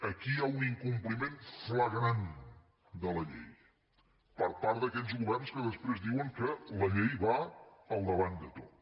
aquí hi ha un incompliment flagrant de la llei per part d’aquells governs que després diuen que la llei va al davant de tot